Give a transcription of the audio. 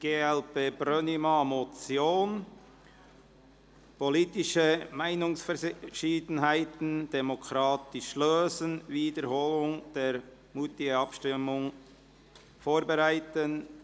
Wir haben eine Motion glp/Brönnimann: «Politische Meinungsverschiedenheiten demokratisch lösen – Wiederholung der Moutier-Abstimmung vorbereiten».